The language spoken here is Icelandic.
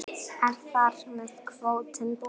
Er þar með kvótinn búinn?